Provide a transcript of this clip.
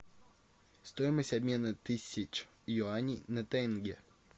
стоимость обмена тысяч юаней на тенге